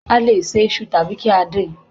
A lè se isu tàbí kí á din